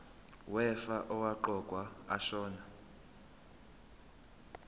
wefa owaqokwa ashona